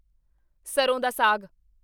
ਸਰ੍ਹੋਂ ਦਾ ਸਾਗ